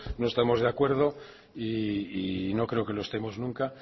no estamos de acuerdo y no creo que lo estemos nunca